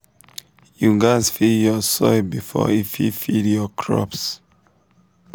you gatz feed your soil before e fit feed your crops.